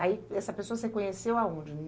Aí, e essa pessoa você conheceu aonde?